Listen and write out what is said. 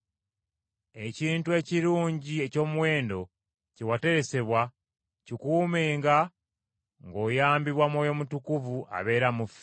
Ekintu ekirungi eky’omuwendo kye wateresebwa kikuumenga ng’oyambibwa Mwoyo Mutukuvu abeera mu ffe.